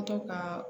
ka